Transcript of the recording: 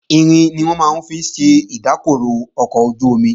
Irin ni wọ́n máa ń fi ṣe ìdákọrò ọkọ̀ ojú-omi